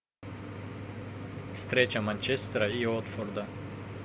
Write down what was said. встреча манчестера и уотфорда